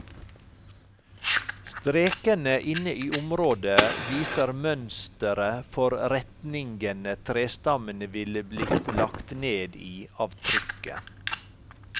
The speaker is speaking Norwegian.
Strekene inne i området viser mønsteret for retningene trestammene ville blitt lagt ned i av trykket.